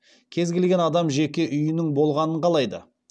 кез келген адам жеке үйінің болғанын қалайды